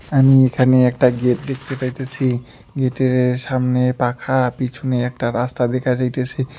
আমি এখানে একটা গেট দেখতে পাইতেসি গেটের সামনে পাখা পিছনে একটা রাস্তা দেখা যাইতেসে।